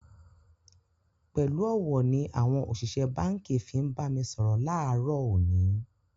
Pẹ̀lú ọ̀wọ̀ ni àwọn òṣìṣẹ́ báǹkì fi ń bá mi sọ̀rọ̀ láàárọ̀ òní